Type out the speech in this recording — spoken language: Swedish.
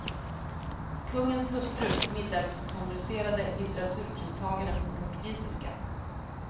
Kungens hustru middagskonverserade litteraturpristagaren på portugisiska.